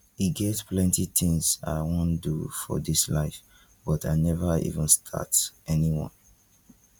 e get plenty things i wan do for dis life but i never even start anyone